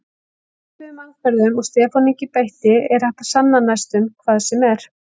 Með svipuðum aðferðum og Stefán Ingi beitti er hægt að sanna næstum hvað sem er.